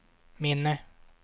minne